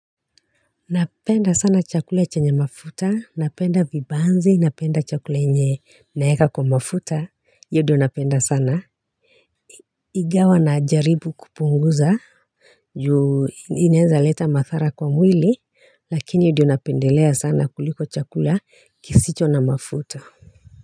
Napenda sana chakula chenye mafuta, napenda vibanzi, napenda chakula yenye naeka kwa mafuta, iyo ndio napenda sana. Ingawa najaribu kupunguza juu inaeza leta madhara kwa mwili. Lakini ndio napendelea sana kuliko chakula kisicho na mafuta.